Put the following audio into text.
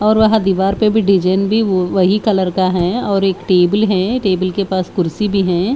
और वहा दीवार पे भी डिजाइन भी व वही कलर का है और एक टेबल है टेबल के पास कुर्सी भी है।